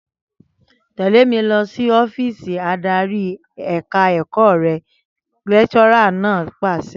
Tẹ̀lé mi lọ sí ọ́fíìsì adarí ẹ̀ka ẹ̀kọ́ rẹ!', lẹ́kíṣọ́rà náà pàṣẹ